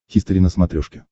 хистори на смотрешке